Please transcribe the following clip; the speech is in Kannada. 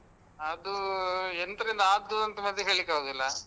ಅದು ಎಂತರಿಂದ ಅದು ಅಂತ ಮೊದ್ಲೇ ಹೇಳಿಕ್ಕೆ ಆಗುದಿಲ್ಲಾ.